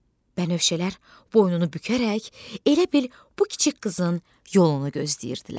Bənövşələr boynunu bükərək elə bil bu kiçik qızın yolunu gözləyirdilər.